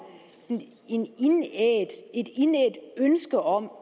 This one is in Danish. et indædt ønske om